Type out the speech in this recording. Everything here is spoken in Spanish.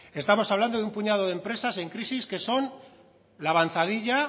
estamos hablando de un puñado de empresas en crisis que son la avanzadilla